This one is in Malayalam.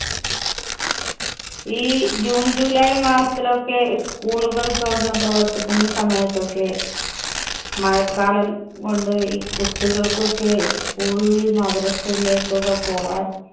ഈ june, july മാസത്തിലൊക്കെ school കള്‍ തുറന്നു പ്രവര്‍ത്തിക്കുന്ന സമയത്തൊക്കെ മഴക്കാലം കൊണ്ട് ഈ കുട്ടികള്‍ക്കൊക്കെ school ലും, മദ്രസ്സയിലേക്കൊക്കെ പോകാന്‍